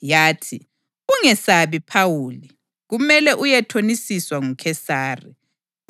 yathi, ‘Ungesabi, Phawuli. Kumele uyethonisiswa nguKhesari;